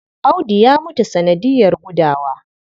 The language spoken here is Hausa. Audu ya mutu sanadiyar gudawa.